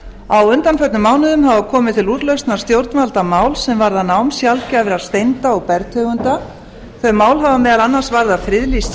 á undanförnum mánuðum hafa komið til úrlausnar stjórnvalda mál sem varða nám sjaldgæfra steinda og bergtegunda þau mál hafa meðal annars varðað friðlýst